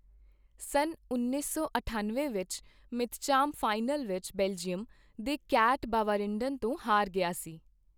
ਸੰਨ ਉੱਨੀ ਸੌ ਅਠੱਨਵੇਂ ਵਿੱਚ ਮਿੱਤਚਾਮ ਫਾਈਨਲ ਵਿੱਚ ਬੈਲਜੀਅਮ ਦੇ ਕੈਟ ਬਾਵਰਿਏਨਡੇਨ ਤੋਂ ਹਾਰ ਗਿਆ ਸੀ।